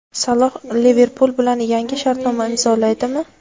Saloh "Liverpul" bilan yangi shartnoma imzolaydimi?.